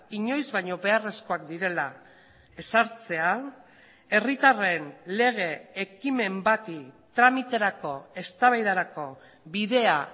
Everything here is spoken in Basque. inoiz baino beharrezkoak direla ezartzea herritarren lege ekimen bati tramiterako eztabaidarako bidea